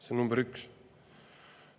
See on number üks.